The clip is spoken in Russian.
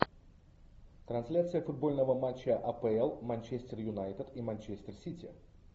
трансляция футбольного матча апл манчестер юнайтед и манчестер сити